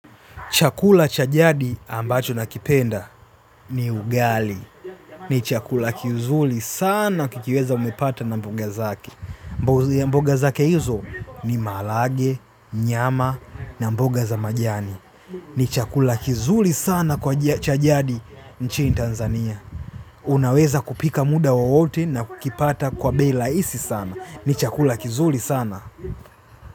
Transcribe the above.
Chakula cha jadi ambacho nakipenda ni ugali. Ni chakula kizuli sana kikiweza umepata na mboga zake. Mboga zake hizo ni mahalage, nyama na mboga za majani. Ni chakula kizuli sana kwa cha jadi nchini Tanzania. Unaweza kupika muda wowote na kukipata kwa bei laisi sana. Ni chakula kizuli sana.